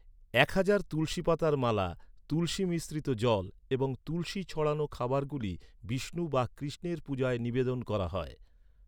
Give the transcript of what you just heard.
এক হাজার তুলসী পাতার মালা, তুলসী মিশ্রিত জল এবং তুলসী ছড়ানো খাবারগুলি বিষ্ণু বা কৃষ্ণের পূজায় নিবেদন করা হয়।